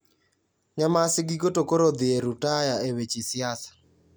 Nyamasi giko to koro odhi e rutaya e weche siasa